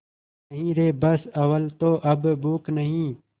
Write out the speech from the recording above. नहीं रे बस अव्वल तो अब भूख नहीं